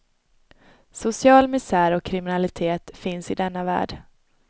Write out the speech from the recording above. Social misär och kriminalitet finns i denna värld.